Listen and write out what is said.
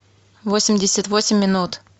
восемьдесят восемь минут